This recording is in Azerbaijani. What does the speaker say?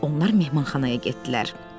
Onlar mehmanxanaya getdilər.